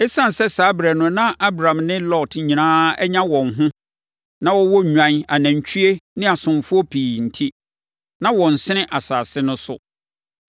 Esiane sɛ saa ɛberɛ no na Abram ne Lot nyinaa anya wɔn ho, na wɔwɔ nnwan, anantwie ne asomfoɔ pii enti, na wɔnsene asase no so.